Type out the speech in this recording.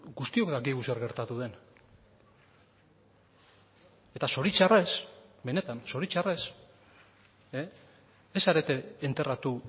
guztiok dakigu zer gertatu den eta zoritxarrez benetan zoritxarrez ez zarete enterratu